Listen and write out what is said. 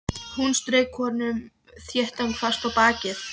Hún strauk honum þéttingsfast á bakið.